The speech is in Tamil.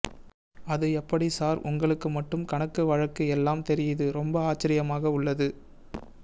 அது எப்படி சார் உங்களுக்கு மட்டும் கணக்கு வழுக்க எல்லாம் தெரியுது ரொம்ப ஆச்சரியமாக உள்ளது